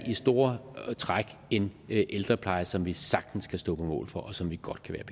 i store træk en ældrepleje som vi sagtens kan stå på mål for og som vi godt kan